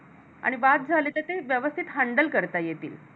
आणि वाद झाले तर ते व्यवस्थित handle करता येतील